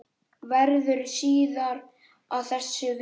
Verður síðar að þessu vikið.